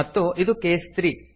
ಮತ್ತು ಇದು ಕೇಸ್ 3